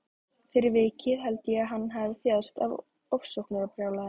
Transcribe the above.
Fyrir vikið held ég að hann hafi þjáðst af ofsóknarbrjálæði.